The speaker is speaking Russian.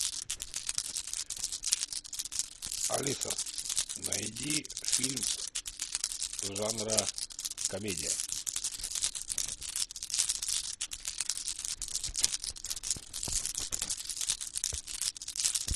алиса найди фильм жанра комедия